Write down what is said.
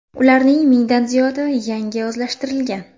Ularning mingdan ziyodi yangi o‘zlashtirilgan.